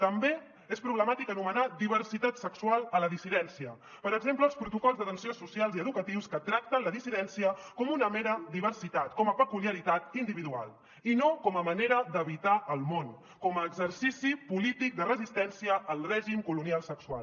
també és problemàtic anomenar diversitat sexual a la dissidència per exemple els protocols d’atenció socials i educatius que tracten la dissidència com una mera diversitat com a peculiaritat individual i no com a manera d’habitar al món com a exercici polític de resistència al règim colonial sexual